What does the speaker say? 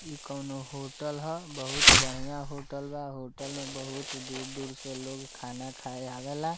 इ कोनो होटल हअ बहुत बढ़िया होटल बा होटल में बहुत दूर-दूर से लोग खाना खाए आवेला।